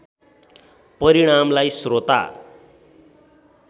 परिणामलाई श्रोता